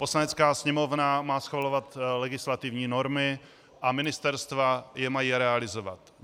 Poslanecká sněmovna má schvalovat legislativní normy a ministerstva je mají realizovat.